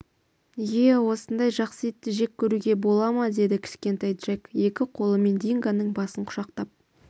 ие осындай жақсы итті жек көруге бола ма деді кішкентай джек екі қолымен дингоның басын құшақтап